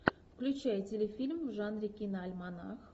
включай телефильм в жанре киноальманах